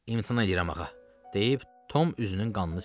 İmtina edirəm, ağa, deyib Tom üzünün qanını sildi.